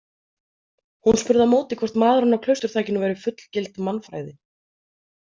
Hún spurði á móti hvort maðurinn á klausturþakinu væri fullgild mannfræði.